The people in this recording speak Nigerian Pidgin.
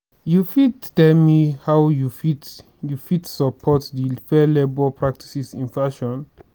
you fit tell me how you fit you fit support di fair labor practices in fashion?